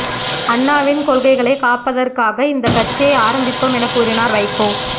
அண்ணாவின் கொள்கைகளை காப்பதற்காக இந்த கட்சியை ஆரம்பித்தோம் என கூறினாா் வைகோ